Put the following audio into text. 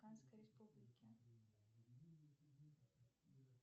канской республики